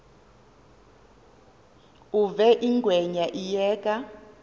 uve ingwenya iyeka